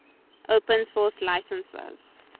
open source licenses